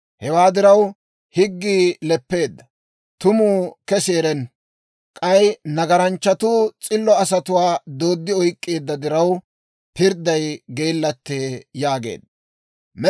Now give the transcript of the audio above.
Hewaa diraw, higgii leppeedda; tumuu kesi erenna. K'ay nagaranchchatuu s'illo asatuwaa dooddi oyk'k'eedda diraw, pirdday geellattee» yaageedda.